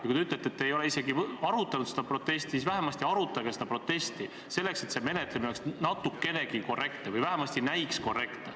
Ja kui te ütlete, et te pole seda protesti isegi mitte arutanud, siis vähemalt arutage seda protesti, et eelnõu menetlemine oleks kas või natukenegi korrektne või vähemalt näiks korrektne.